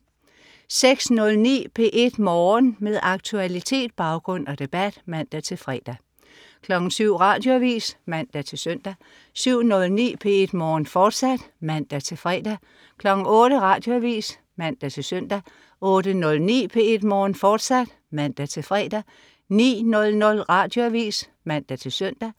06.09 P1 Morgen. Med aktualitet, baggrund og debat (man-fre) 07.00 Radioavis (man-søn) 07.09 P1 Morgen, fortsat (man-fre) 08.00 Radioavis (man-søn) 08.09 P1 Morgen, fortsat (man-fre) 09.00 Radioavis (man-søn)